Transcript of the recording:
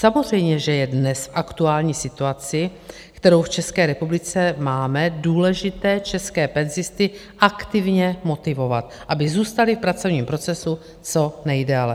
Samozřejmě, že je dnes v aktuální situaci, kterou v České republice máme, důležité české penzisty aktivně motivovat, aby zůstali v pracovním procesu co nejdéle.